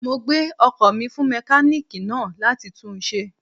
Mo gbé ọkò mi fún mékáníìkì náà láti tun ṣe